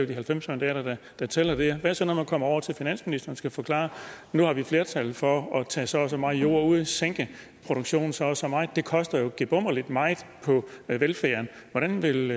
de halvfems mandater der tæller der hvad så når man kommer over til finansministeren og skal forklare at nu har vi flertal for at tage så og så meget jord og sænke produktionen så og så meget det koster jo gebummerlig meget på velfærden hvordan vil